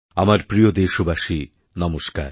আমার প্রিয় দেশবাসী নমস্কার